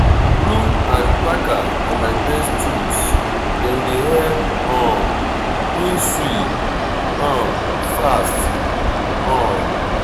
broom and packer na my best tools dem dey help um me sweep um fast. um